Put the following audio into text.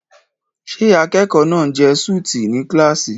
Ṣé akẹ́kọ̀ọ́ náà ń jẹ súùtì ní kíláàsì?